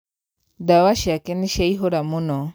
ndawa ciake nīciaihūra mūno.